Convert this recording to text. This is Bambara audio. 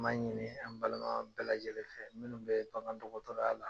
an b'a ɲini an balima bɛɛ lajɛlen fɛ minnu bɛ bagan dɔgɔtɔrɔya la.